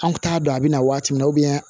An kun t'a dɔn a bɛ na waati min na